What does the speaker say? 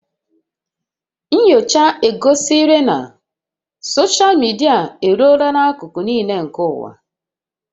Nnyocha egosila na soshal midia eruola n'akụkụ niile nke ụwa